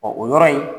o yɔrɔ in